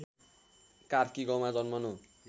कार्की गाउँमा जन्मनु